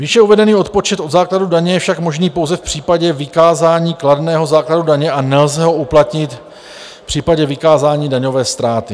Výše uvedený odpočet od základu daně je však možný pouze v případě vykázání kladného základu daně a nelze ho uplatnit v případě vykázání daňové ztráty.